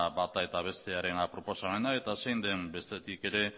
bata eta bestearen proposamena eta zein den bestetik ere